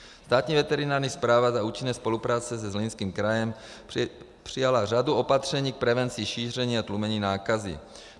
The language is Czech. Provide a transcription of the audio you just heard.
Státní veterinární správa za účinné spolupráce se Zlínským krajem přijala řadu opatření k prevenci šíření a tlumení nákazy.